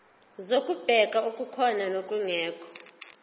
zokubheka okukhona nokungekho